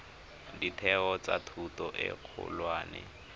ditheo tsa thuto e kgolwane